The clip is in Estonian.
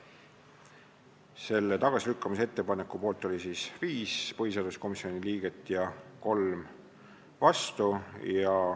Selle ettepaneku poolt oli 5 põhiseaduskomisjoni liiget ja 3 vastu.